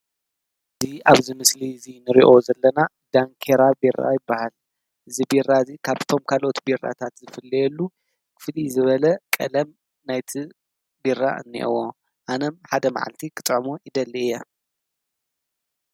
እዚ ኣብዚ ምስሊ እዚ ንርእዮ ዘለና ዳንኬራ ቤራ ይብሃል፡፡ እዚ ቤራ እዚ ካብቶም ካልኦት ቤራታት ዝፍለየሉ ፍልይ ዝበለ ቀለም ናይቲ ቤራ እኒሀዎ ኣነም ሓደ ማዓልቲ ክጥዕሞ ይደሊ እየ፡፡